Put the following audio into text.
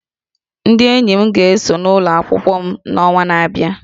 Ndị enyi m ga-esonye n'ụlọ akwụkwọ m n'ọnwa na-abịa